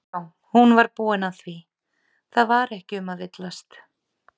Já, hún var búin að því, það var ekki um að villast!